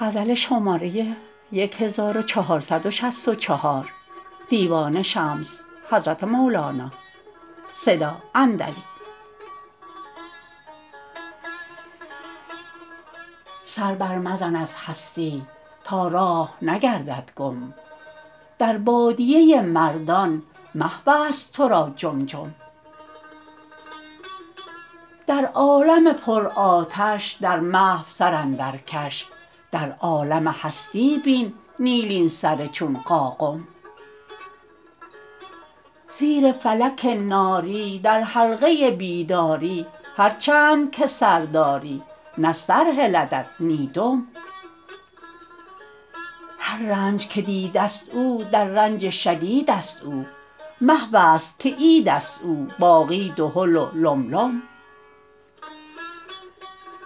سر برمزن از هستی تا راه نگردد گم در بادیه مردان محوست تو را جم جم در عالم پرآتش در محو سر اندرکش در عالم هستی بین نیلین سر چون قاقم زیر فلک ناری در حلقه بیداری هر چند که سر داری نه سر هلدت نی دم هر رنج که دیده ست او در رنج شدیدست او محو است که عید است او باقی دهل و لم لم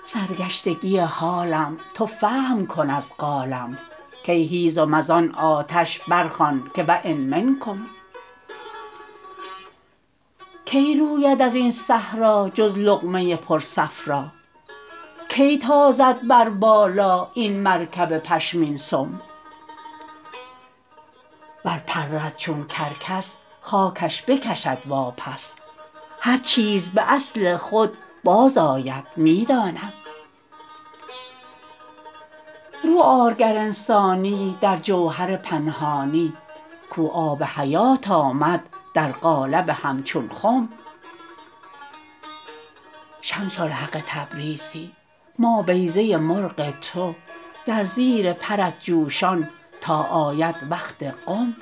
سرگشتگی حالم تو فهم کن از قالم کای هیزم از آن آتش برخوان که و ان منکم کی روید از این صحرا جز لقمه پرصفرا کی تازد بر بالا این مرکب پشمین سم ور پرد چون کرکس خاکش بکشد واپس هر چیز به اصل خود بازآید می دانم رو آر گر انسانی در جوهر پنهانی کو آب حیات آمد در قالب همچون خم شمس الحق تبریزی ما بیضه مرغ تو در زیر پرت جوشان تا آید وقت قم